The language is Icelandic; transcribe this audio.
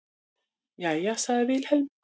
Jæja, sagði Vilhelm.